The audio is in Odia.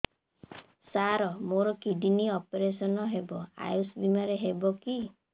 ସାର ମୋର କିଡ଼ନୀ ଅପେରସନ ହେବ ଆୟୁଷ ବିମାରେ ହେବ କି